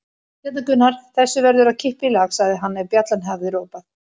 Hérna Gunnar, þessu verður að kippa í lag, sagði hann ef bjallan hafði ropað.